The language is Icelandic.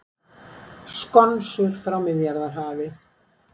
Skonsur frá Miðjarðarhafi